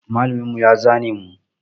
Malamin mu ya zane mu.